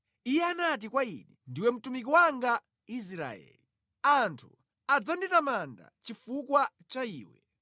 Iye anati kwa ine, “Ndiwe mtumiki wanga, Israeli. Anthu adzanditamanda chifukwa cha iwe.”